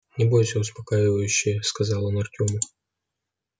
не бойся успокаивающе сказал он артему